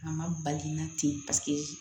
A ma bali la ten paseke